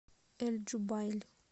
эль джубайль